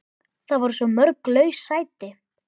Það voru svo mörg laus sæti.